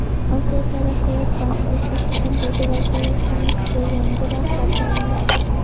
Osiyo taraqqiyot banki O‘zbekistondagi vakolatxonasiga yangi rahbar tayinladi.